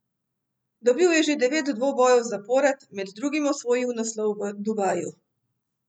Dobil je že devet dvobojev zapored, med drugim osvojil naslov v Dubaju.